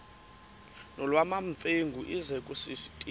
nolwamamfengu ize kusitiya